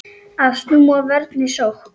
Að snúa vörn í sókn.